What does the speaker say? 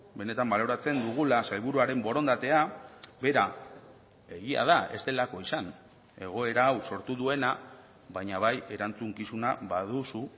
benetan baloratzen dugula sailburuaren borondatea bera egia da ez delako izan egoera hau sortu duena baina bai erantzukizuna baduzu